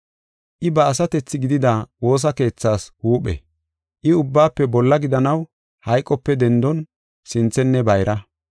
I ba asatethi gidida woosa keethas huuphe. I ubbaafe bolla gidanaw hayqope dendon sinthenne bayra.